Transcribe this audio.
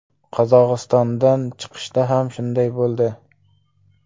Qozog‘istondan chiqishda ham shunday bo‘ldi.